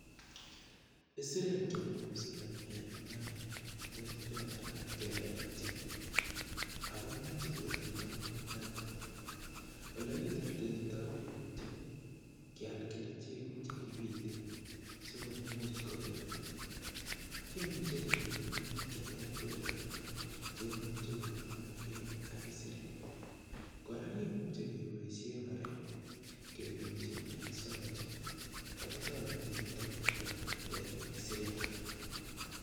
Isirek chenome saroch en embarengun ko isirek alak chelelachen ako moche kotindoi netui, olekiterterto komoche kial kerichek kii chekipiten sikumuch kokirunda. Komuche kemin minutik cheterter en imbaret cheimuche komonomegee ak isirek, Koraa kimuche keboishen orek ketumchi en sarochi ako toreti niton koterter isirek.